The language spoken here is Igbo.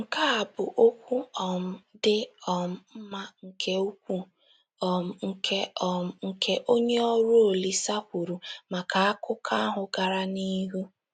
Nkea a bụ okwu um dị um mma nke ukwuu um nke um nke onye ọrụ Olise kwuru maka akụkọ ahụ gara n'ihu